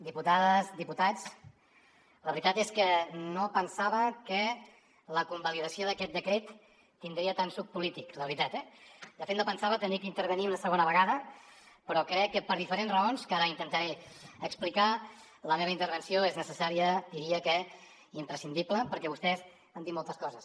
diputades diputats la veritat és que no pensava que la convalidació d’aquest decret tindria tant de suc polític la veritat eh de fet no pensava haver d’intervenir una segona vegada però crec que per diferents raons que ara intentaré explicar la meva intervenció és necessària diria que imprescindible perquè vostès han dit moltes coses